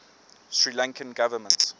sri lankan government